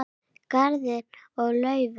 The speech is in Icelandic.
Garðar og Laufey.